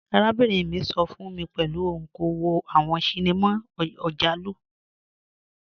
Arábìnrin mi sọ fun mi pẹ̀lú ọun kò wò awọn ṣíníma ọjàlù.